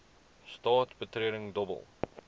straat betreding dobbel